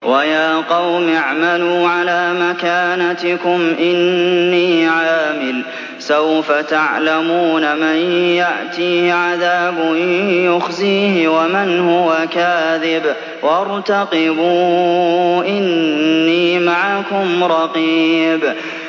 وَيَا قَوْمِ اعْمَلُوا عَلَىٰ مَكَانَتِكُمْ إِنِّي عَامِلٌ ۖ سَوْفَ تَعْلَمُونَ مَن يَأْتِيهِ عَذَابٌ يُخْزِيهِ وَمَنْ هُوَ كَاذِبٌ ۖ وَارْتَقِبُوا إِنِّي مَعَكُمْ رَقِيبٌ